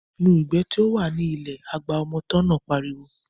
Nu ìgbẹ́ tí ó wà ní ilẹ̀ náà, agba ọmọ tọ́ náà pariwo